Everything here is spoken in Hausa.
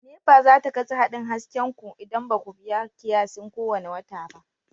NEPA za ta katse haɗin hasken ku idan ba ku biya kiyasin kowane wata ba.